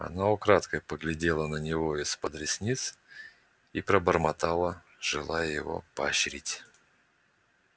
она украдкой поглядела на него из-под ресниц и пробормотала желая его поощрить